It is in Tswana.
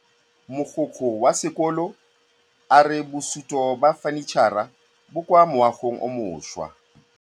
Mogokgo wa sekolo a re bosutô ba fanitšhara bo kwa moagong o mošwa.